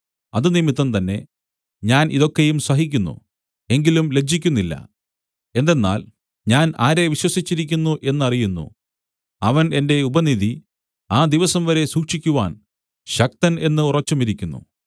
അതുനിമിത്തം തന്നെ ഞാൻ ഇതൊക്കെയും സഹിക്കുന്നു എങ്കിലും ലജ്ജിക്കുന്നില്ല എന്തെന്നാൽ ഞാൻ ആരെ വിശ്വസിച്ചിരിക്കുന്നു എന്നറിയുന്നു അവൻ എന്റെ ഉപനിധി ആ ദിവസംവരെ സൂക്ഷിക്കുവാൻ ശക്തൻ എന്ന് ഉറച്ചുമിരിക്കുന്നു